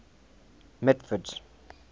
mitford's